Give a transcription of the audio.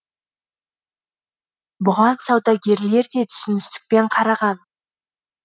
бұған саудагерлер де түсіністікпен қараған